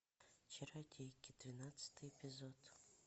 чародейки двенадцатый эпизод